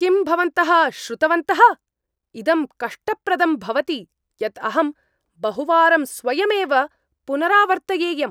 किं भवन्तः श्रुतवन्तः? इदं कष्टप्रदं भवति यत् अहं बहुवारं स्वयमेव पुनरावर्तयेयम्।